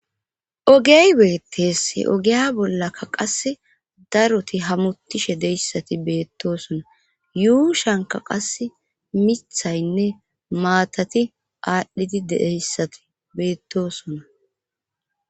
Ogey beettees ogeya bollakka qas daroti hamutishe deyssati beettosona yuu shanka qas mithaynne maatati aadhdhidi dedeyssati beettosona.